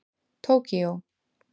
Tókíó